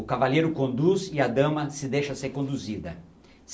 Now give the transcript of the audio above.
o cavaleiro conduz e a dama se deixa ser conduzida.